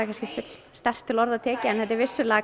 sterkt til orða tekið þetta er vissulega